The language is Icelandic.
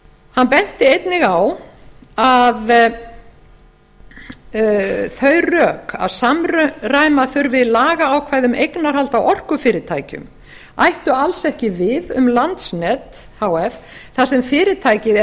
hann benti einnig á að þau rök að samræma þurfi lagaákvæði um eignarhald á orkufyrirtækjum ættu alls ekki við um landsnet h f þar sem fyrirtækið er